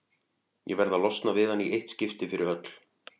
Ég verð að losna við hann í eitt skipti fyrir öll.